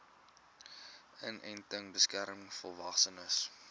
inenting beskerm volwassenes